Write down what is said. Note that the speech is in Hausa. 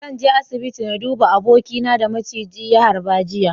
Zan je asibiti na duba abokina da maciji ya harba jiya.